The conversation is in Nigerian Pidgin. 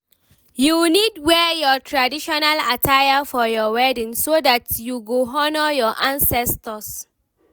you need wear your traditional attire for your wedding, so that you go honour your ancestors